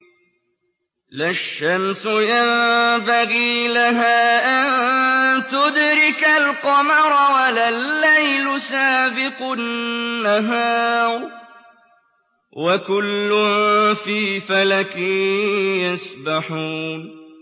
لَا الشَّمْسُ يَنبَغِي لَهَا أَن تُدْرِكَ الْقَمَرَ وَلَا اللَّيْلُ سَابِقُ النَّهَارِ ۚ وَكُلٌّ فِي فَلَكٍ يَسْبَحُونَ